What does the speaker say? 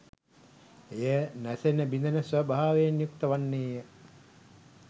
එය නැසෙන බිඳෙන ස්වභාවයෙන් යුක්ත වන්නේය.